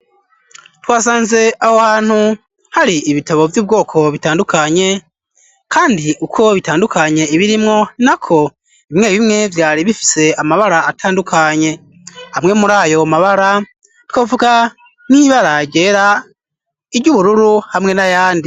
Twasanze aho hantu hari ibitabo vy'ubwoko bitandukanye, kandi uko bitandukanye ibirimwo na ko bimwe bimwe vyari bifise amabara atandukanye hamwe muri ayo mabara twavuga nk'ibaragera iryo ubururu hamwe na yandi.